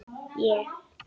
Ég?!